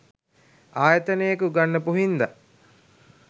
ආයතනයක උගන්නපු හින්දා.